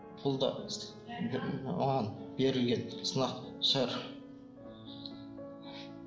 бұл да бір маған берілген сынақ шығар